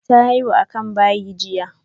Ta haihu a ƙasan bayi jiya.